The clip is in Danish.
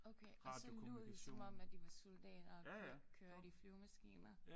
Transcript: Okay og så lod I som om at I var soldater og kørte i flyvemaskiner